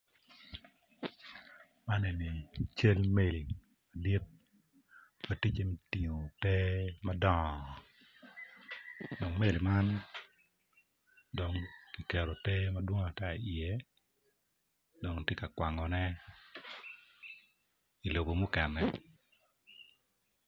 Man enini cal omeri madit matye gutingo ter madongo omeri man dong kiketo ter madwong i ye dong tye ka kwango ne i lobo mukene.